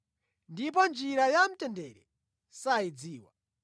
ndipo njira ya mtendere sayidziwa.”